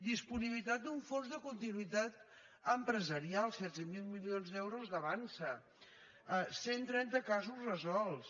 disponibilitat d’un fons de continuïtat empresarial setze mil milions d’euros d’avançsa cent i trenta casos resolts